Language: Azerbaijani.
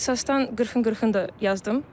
İxtisasdan 40-ın 40-ını da yazdım.